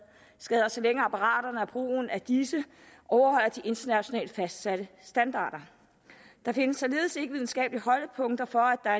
så længe apparaterne og brugen af disse overholder de internationalt fastsatte standarder der findes således ikke videnskabelige holdepunkter for at